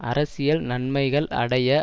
அரசியல் நன்மைகள் அடைய